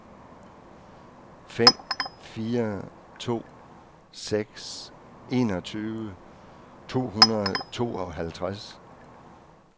fem fire to seks enogtyve to hundrede og tooghalvtreds